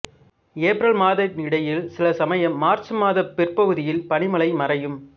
April மாதத்தினிடையில் சில சமயம் மார்ச் மாத பிற்பகுதியில் பனிமழை மறையும்